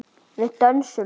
Við dönsum.